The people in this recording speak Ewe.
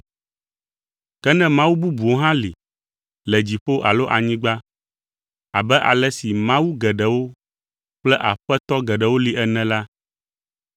Ke ne Mawu bubuwo hã li, le dziƒo alo anyigba (abe ale si “mawu” geɖewo kple “aƒetɔ” geɖewo li ene la),